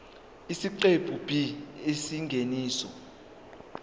isiqephu b isingeniso